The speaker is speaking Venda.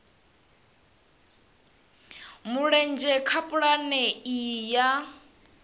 mulenzhe kha pulane iyi ya